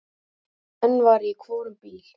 Einn var í hvorum bíl.